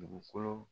Dugukolo